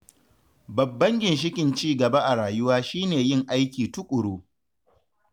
Babban ginshiƙin cigaba a rayuwa shi ne yin aiki tuƙuru.